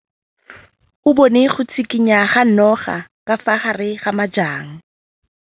O bone go tshikinya ga noga ka fa gare ga majang.